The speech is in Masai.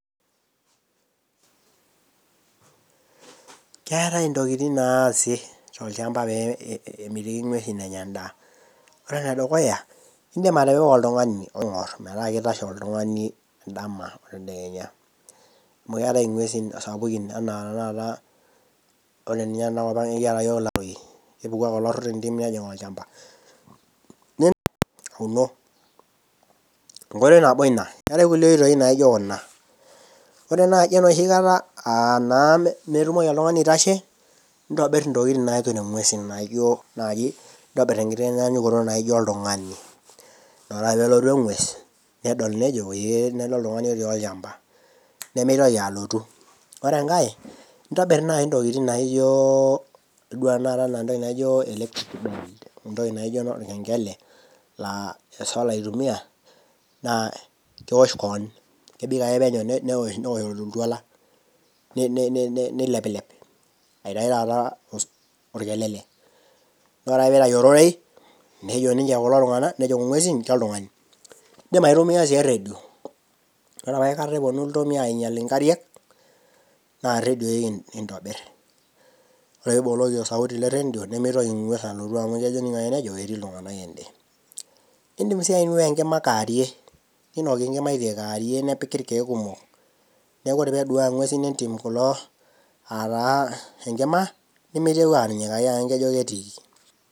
Keatai intokitin naatai tolchamba pee emitiki ing'uesi enya endaa. Ore ene dukuya, indim atipika oltung'ani metaa keitasho oltung'or oltung'ani dama. Amu keatai ing'uesi sapukin anaa taata , ore ninye tenakop ang' kiata iyiok ilaroi, epuku ake olaro tendim neijing' olchamba . Enkoitoi nabo ina, keatai kulie oitoi naijo kuna, ore naa nooshi kata aa naa metumoki oltung'ani aitasho, neitobir intokitin naamir ing'uesin naijo naaji intobir enkiti kitaanyanyukoto naijo oltung'ani, ore ake pelotu eng'ues neijo ee weelde oltung'ani otii olchamba, nemeitoki alotu. Ore enkai, intobir naaji oltung'ani intokitoin naijo, idol tena kata intokitin naijo electric bell, entoki naijo olkeng'ele naa esola eitumiya, naa keosh kaan, kebik ake neija neosh oltuala, neileplep, aitayu taata olkelele, ore ake peeitayu ororei nedol ninche kulo tung'ana kuna ng'uesin kaijo oltung'ani. Indim sii aitumiya eredio, ore opa aikata epuonu iltomia ainyal inkariak, naa iredion kiintobir, ore ake pee iboloki sauti e redio nemeitoki eng'uess alotu amu neijo etiii iltung'ana ene. Indim sii ainua enkima kewarie, neinoki enkima kewarie nepiki ilkeek kumok, neaku ore pee eduaya ing'uesin entim enkima, nemeitoki anyikaki amu neijo ketiiki.